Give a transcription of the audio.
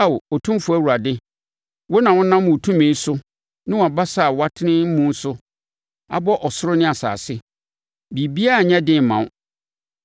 “Ao, Otumfoɔ Awurade, wo na wonam wo tumi ne wo basa a woatene muo so abɔ ɔsoro ne asase. Biribiara nyɛ den mma wo.